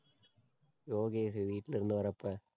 யோகேஷ் வீட்ல இருந்து வர்றப்ப